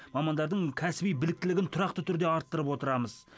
мамандардың кәсіби біліктілігін тұрақты түрде арттырып отырамыз